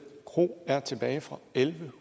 kro er tilbage fra elleve